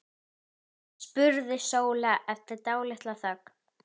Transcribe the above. spurði Sóla eftir dálitla þögn.